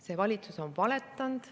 See valitsus on valetanud.